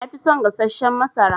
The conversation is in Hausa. Nafi son gassashen masara.